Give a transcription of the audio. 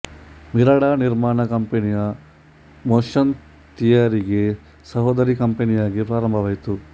Mirada ನಿರ್ಮಾಣ company motion ಥಿಯರಿಗೆ ಸಹೋದರಿ ಕಂಪನಿಯಾಗಿ ಪ್ರಾರಂಭವಾಯಿತು